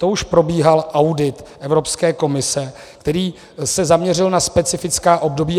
To už probíhal audit Evropské komise, který se zaměřil na specifická období.